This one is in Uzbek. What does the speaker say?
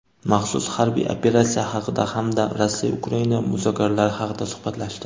maxsus harbiy operatsiya haqida hamda Rossiya-Ukraina muzokaralari haqida suhbatlashdi.